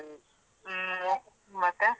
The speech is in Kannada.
ಹ್ಮ್ ಮತ್ತೆ.